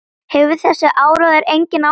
Hefur þessi áróður engin áhrif?